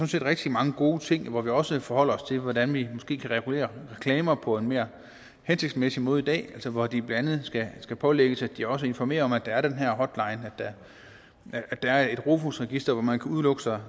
set rigtig mange gode ting hvor vi også forholder os til hvordan vi måske kan regulere reklamer på en mere hensigtsmæssig måde i dag altså hvor de blandt andet skal pålægges at de også informerer om at der er den her hotline at der er et rofus register hvor man kan udelukke sig